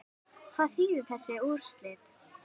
Hvað þýða þessi úrslit?